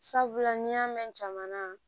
Sabula n'i y'a mɛn jamana